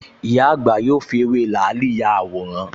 Ìyá àgbà yóò fi ewé làálì ya àwòrán